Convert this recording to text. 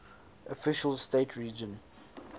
official state religion